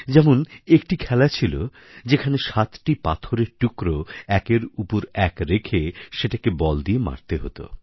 যেমন একটি খেলা ছিল যেখানে সাতটি পাথরের টুকরো একের উপর এক রেখে সেটাকে বল দিয়ে মারতে হত